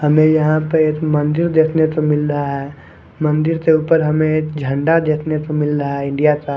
हमें यहां पे एक मंदिर देखने को मिल रहा है मंदिर के ऊपर हमें एक झंडा देखने को मिल रहा है इंडिया का।